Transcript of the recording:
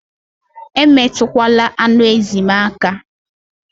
Emetukwala anụ ezi m aka!